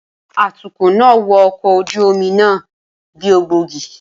Atukọ̀ náà wọ ọkọ̀ ojú omi náà bí ògbógi.